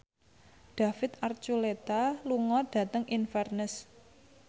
David Archuletta lunga dhateng Inverness